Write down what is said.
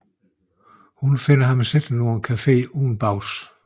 Hun finder ham siddende på en café uden bukser på